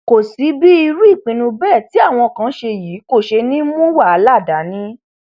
kò sí bí irú ìpinnu bẹẹ tí àwọn kan ṣe yìí kò ṣe ní í mú wàhálà dání